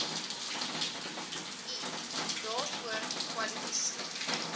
eat daarvoor kwalifiseer